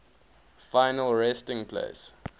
final resting place